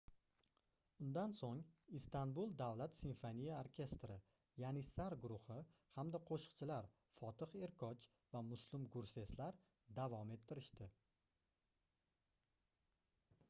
undan soʻng istanbul davlat simfoniya orkestri yanissar guruhi hamda qoʻshiqchilar fotih erkoch va muslum gurseslar davom ettirishdi